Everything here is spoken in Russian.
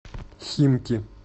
химки